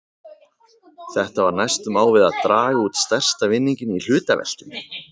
Þetta var næstum á við að draga út stærsta vinninginn í hlutaveltunni!